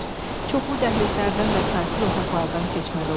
Çoxlu dəhlizlərdən və saysız otaqlardan keçməli oldular.